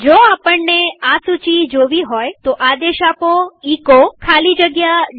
જો આપણને આ સૂચી જોવી હોયતો આદેશ આપો એચો ખાલી જગ્યા PATH